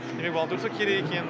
міне волонтерсво керек екен